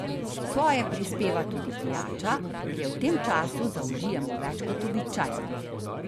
Svoje prispeva tudi pijača, ki je v tem času zaužijemo več kot običajno.